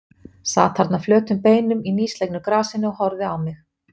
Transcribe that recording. Sat þarna flötum beinum í nýslegnu grasinu og horfði á mig.